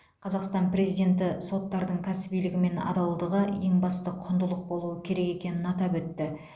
қазақстан президенті соттардың кәсібилігі мен адалдығы ең басты құндылық болуы керек екенін атап өтті